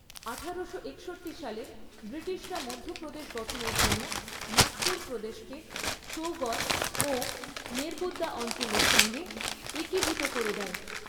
আঠারোশো একষট্টি সালে ব্রিটিশরা মধ্য প্রদেশ গঠনের জন্য নাগপুর প্রদেশকে সৌগর ও নেরবুদ্দা অঞ্চলের সঙ্গে একীভূত করে দেয়।